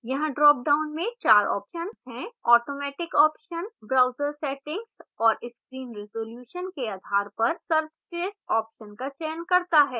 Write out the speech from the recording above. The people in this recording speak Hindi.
यहाँ dropdown में 4 options हैं: automatic options browser settings और screen resolution के आधार पर सर्वश्रेष्ठ options का चयन करता है